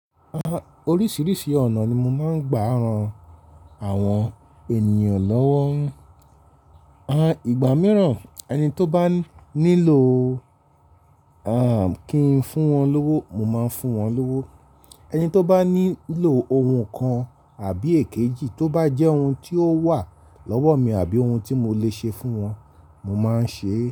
Oríṣiríṣi ọ̀nà ni mo máa ń gba ran àwọn ènìyàn lọ́wọ́. Àn, ìgbà mìíràn ẹni tó bá nílò, àn, kí ń fún wọn lówó, mo máa ń fún wọn lówó. Ẹni tó bá nílò ohun kan àbí èkejì tó bá jẹ́ ohun tí ó wà lọ́wọ́ mi àbí ohun tí mo lè ṣe fún wọn, mo máa ń ṣe é.